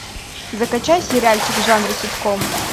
закачай сериальчик в жанре ситком